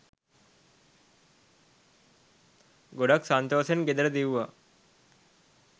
ගොඩක් සන්තෝසෙන් ගෙදර දිව්වා